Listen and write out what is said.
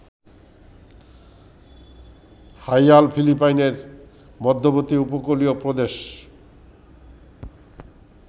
Haiyan ফিলিপাইনের মধ্যবর্তী উপকূলীয় প্রদেশ